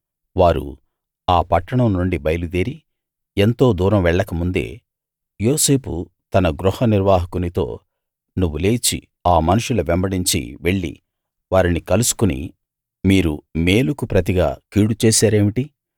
వారు ఆ పట్టణం నుండి బయలుదేరి ఎంతో దూరం వెళ్ళక ముందే యోసేపు తన గృహనిర్వాహకునితో నువ్వు లేచి ఆ మనుష్యుల వెంబడించి వెళ్ళి వారిని కలుసుకుని మీరు మేలుకు ప్రతిగా కీడు చేశారేమిటి